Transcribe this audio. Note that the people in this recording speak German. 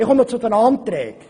Ich komme zu den Anträgen.